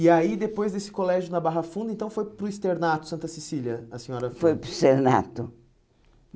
E aí, depois desse colégio na Barra Funda, então foi para o externato, Santa Cecília, a senhora... Foi para o externato.